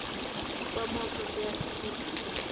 dzi kwamaho thodea thukhu dza